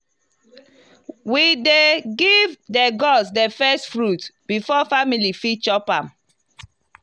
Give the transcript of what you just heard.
we dey first give the gods the first fruit before family fit chop am.